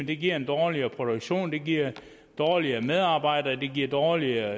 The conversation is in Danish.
det giver dårligere produktion det giver dårligere medarbejdere det giver dårligere